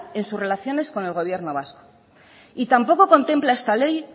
en su relación con el gobierno vasco y tampoco contempla esta ley